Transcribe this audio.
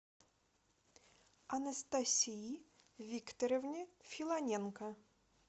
анастасии викторовне филоненко